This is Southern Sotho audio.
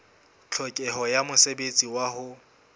tlhokeho ya mosebetsi wa ho